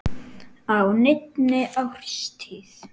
á neinni árstíð.